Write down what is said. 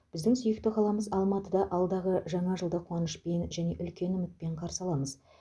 біздің сүйікті қаламыз алматыда алдағы жаңа жылды қуанышпен және үлкен үмітпен қарсы аламыз